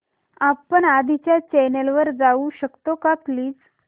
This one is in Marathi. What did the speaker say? आपण आधीच्या चॅनल वर जाऊ शकतो का प्लीज